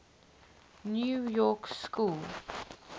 new york school